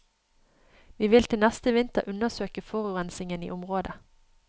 Vi vil til neste vinter undersøke forurensingen i området.